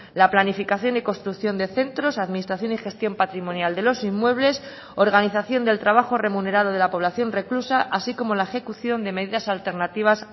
la planificación y construcción de centros administración y gestión patrimonial de los inmuebles organización del trabajo remunerado de la población reclusa así como la ejecución de medidas alternativas